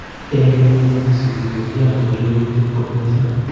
En kenyit negisupi ko kiyan kopir lelutiet kot missing.